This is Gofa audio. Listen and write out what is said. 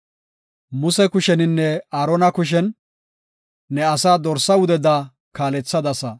Muse kushennine Aarona kushen ne asaa dorsa wudeda kaalethadasa.